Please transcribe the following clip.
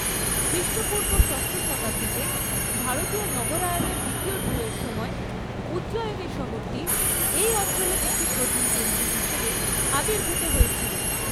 খ্রিষ্টপূর্ব ষষ্ঠ শতাব্দীতে ভারতীয় নগরায়ণের দ্বিতীয় ঢেউয়ের সময়, উজ্জয়িনী শহরটি এই অঞ্চলের একটি প্রধান কেন্দ্র হিসাবে আবির্ভূত হয়েছিল।